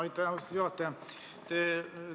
Aitäh, austatud juhataja!